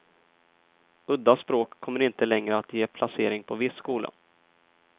Udda språk kommer inte längre att ge placering på viss skola.